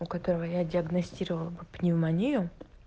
у которого я диагностировала бы пневмонию